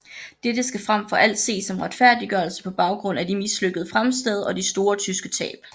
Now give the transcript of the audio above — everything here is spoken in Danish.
Dette skal frem for alt ses som retfærdiggørelse på baggrund af de mislykkede fremstød og de store tyske tab